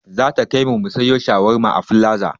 Zata kaimu mu siyo shawarma a filaza